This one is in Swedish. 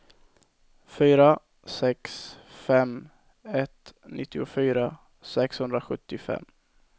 fyra sex fem ett nittiofyra sexhundrasjuttiofem